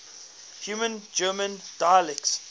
high german dialects